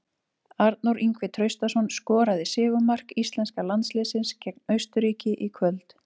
Arnór Ingvi Traustason skoraði sigurmark íslenska landsliðsins gegn Austurríki í kvöld.